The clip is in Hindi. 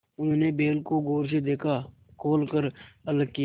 उन्होंने बैल को गौर से देखा खोल कर अलग किया